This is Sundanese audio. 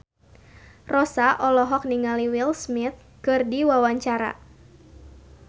Rossa olohok ningali Will Smith keur diwawancara